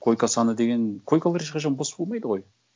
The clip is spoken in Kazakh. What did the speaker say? койка саны деген койкалар ешқашан бос болмайды ғой